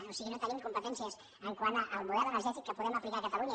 o sigui no tenim competències quant al model energètic que podem aplicar a catalunya